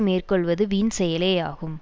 மேற்கொள்வது வீண் செயலேயாகும்